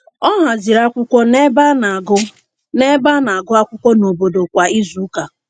Ọ haziri akwụkwọ nebe a na-agụ nebe a na-agụ akwụkwọ nobodo kwa izuụka.